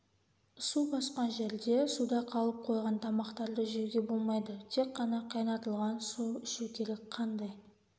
су басқан жерде суда қалып қойған тамақтарды жеуге болмайды тек қана қайнатылған су ішу керек қандай